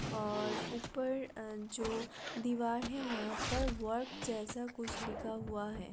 और ऊपर अ जो दीवार है वहा पर वर्क जैसा कुछ लिखा हुआ है।